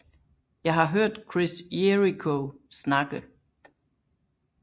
Jeg har hørt Chris Jericho snakke